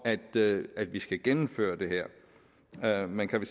at vi skal gennemføre det her her man kan